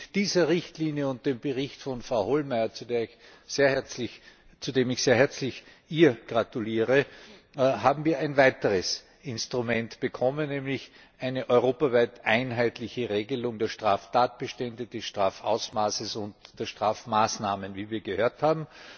Mit dieser Richtlinie und dem Bericht von Frau Hohlmeier, zu dem ich ihr sehr herzlich gratuliere, haben wir ein weiteres Instrument bekommen, nämlich eine europaweit einheitliche Regelung der Straftatbestände, des Strafausmaßes und der Strafmaßnahmen wie wir gehört haben.